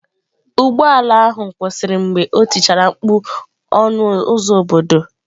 Ụgbọ ala ahụ kwụsịrị mgbe o tichara mkpu "" ọnụ ụzọ obodo "."